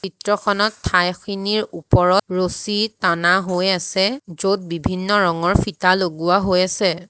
চিত্ৰখনত ঠাইখিনিৰ ওপৰত ৰছী টানা হৈ আছে য'ত বিভিন্ন ৰঙৰ ফিটা লগোৱা হৈ আছে।